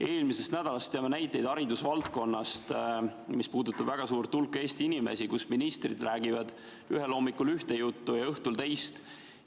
Eelmisest nädalast teame näiteid haridusvaldkonnast, mis puudutab väga suurt hulka Eesti inimesi, et ministrid räägivad hommikul ühte juttu ja õhtul teist.